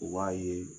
U b'a ye